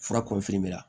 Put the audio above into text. Fura